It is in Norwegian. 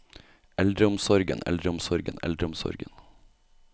eldreomsorgen eldreomsorgen eldreomsorgen